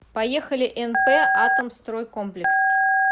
поехали нп атомстройкомплекс